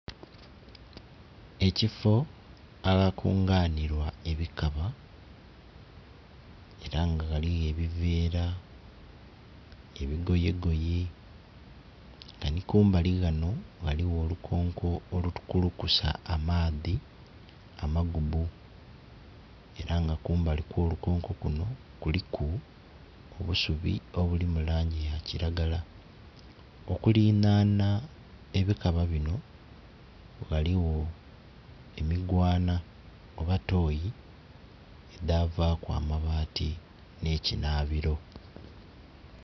Ekifoo aghakunganhibwa ebikaba era nga ghaligho ebivera, ebigoyegoye nga nikumbali ghano ghaligho olukonko olukulukusa amaadhi amagubbu era nga kumbali okwolukonko kuno kuliku obusubi obuli mulangi yakiragala. Okuliranhanha ebikaba bino ghaligho emigwanha oba toyi edhavaku amabaati n'ekinhabiro.